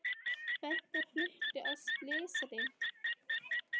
Feðgar fluttir á slysadeild